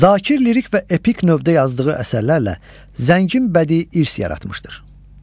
Zakir lirik və epik növdə yazdığı əsərlərlə zəngin bədii irs yaratmışdır.